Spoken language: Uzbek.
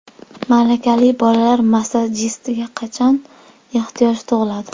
Malakali bolalar massajistiga qachon ehtiyoj tug‘iladi?